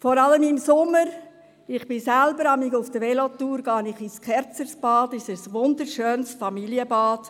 Vor allem im Sommer – ich gehe selber manchmal während der Velotour ins Kerzersbad, es ist ein wunderschönes Familienbad